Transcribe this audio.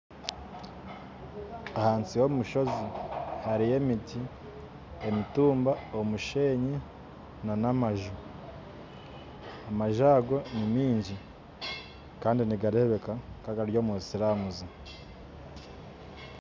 Ahansi y'omushozi hariyo emiti, emitumba, omusheenyi n'amaju kandi amaju ago ni mingi kandi nigureebeka nka agari omu silaamu